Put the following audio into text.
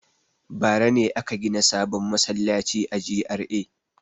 Bara ne aka gina sabon masallaci a GRA.